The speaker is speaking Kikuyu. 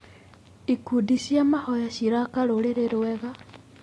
Ikundi cia mahoya ciraka rũrĩrĩ rwega.